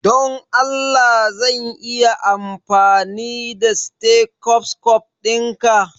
Don Allah zan iya amfani da stethoscope dinka?